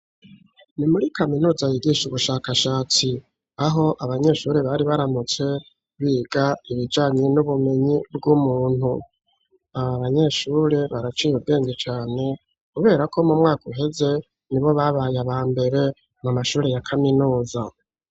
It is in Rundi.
Ni muri kaminuza, yigisha ubushakashatsi; aho abanyeshure, bari baramutse biga, ibijanye n'ubumenyi bw'umuntu; aba banyeshure, baraciye ubwenge cane, kubera ko, mu mwaka uheze, ni bo babaye aba mbere, mu mashure, ya kaminuza.